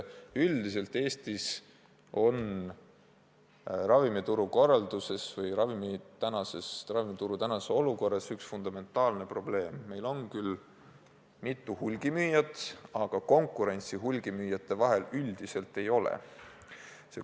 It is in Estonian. Üldiselt Eestis on ravimituru korralduses üks fundamentaalne probleem: meil on küll mitu hulgimüüjat, aga konkurentsi hulgimüüjate vahel üldiselt ei ole.